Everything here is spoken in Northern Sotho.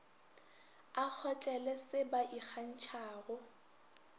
a kgotlele se ba ikgantšhago